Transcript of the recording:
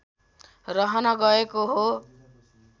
रहन गएको हो